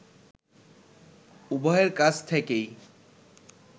উভয়ের কাছ থেকেই